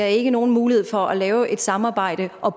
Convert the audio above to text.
ikke nogen mulighed for at lave et samarbejde og